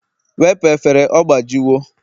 wepụ efere, ọgbajiwo!